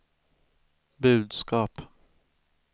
budskap